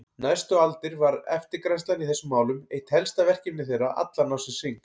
Næstu aldir var eftirgrennslan í þessum málum eitt helsta verkefni þeirra allan ársins hring.